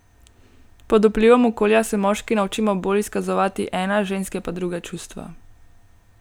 Pod vplivom okolja se moški naučimo bolj izkazovati ena, ženske pa druga čustva.